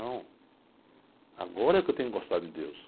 Então, agora é que eu tenho que gostar de Deus.